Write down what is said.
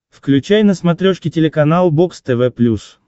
включай на смотрешке телеканал бокс тв плюс